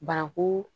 Bananku